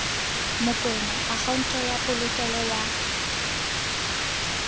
mokoena akhaonto ya polokelo ya